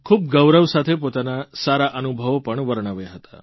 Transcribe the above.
ખૂબ ગૌરવ સાથે પોતાના સારા અનુભવો પણ વર્ણવ્યા હતા